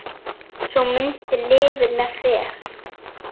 Sú mynd lifir með mér.